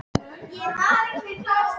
Geirröður, spilaðu tónlist.